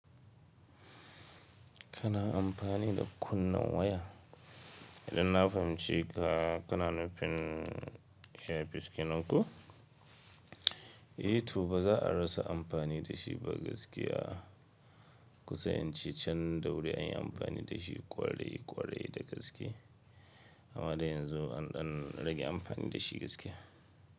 Kana amfani da kunnen waya? Idan na fahimci ka, kana nufin earpiece kenan koh? Eh to ba za a rasa amfani da shi ba gaskiya. Kusan ince can dauri an yi amfani da shi kwarai kwarai da gaske. Amma da yanzu an ɗan rage amfani da shi gaskiya.